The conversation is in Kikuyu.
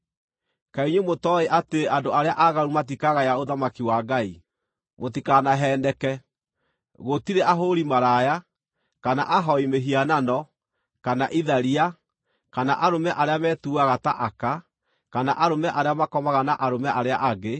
Kaĩ inyuĩ mũtooĩ atĩ andũ arĩa aaganu matikagaya ũthamaki wa Ngai? Mũtikanaheeneke: Gũtirĩ ahũũri maraya, kana ahooi mĩhianano, kana itharia, kana arũme arĩa metuaga ta aka, kana arũme arĩa makomaga na arũme arĩa angĩ,